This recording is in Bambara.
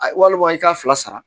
A walima i k'a fila sara